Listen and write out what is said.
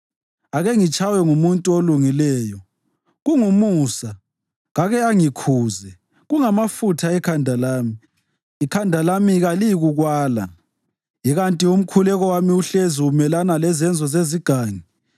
Ake ngitshaywe ngumuntu olungileyo, kungumusa; kake angikhuze, kungamafutha ekhanda lami. Ikhanda lami kaliyikukwala. Ikanti umkhuleko wami uhlezi umelana lezenzo zezigangi.